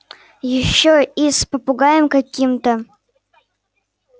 ещё и с попугаем каким-то